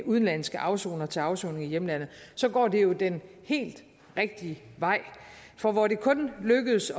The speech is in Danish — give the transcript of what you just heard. udenlandske afsonere til afsoning i hjemlandet så går det jo den helt rigtige vej for hvor det kun lykkedes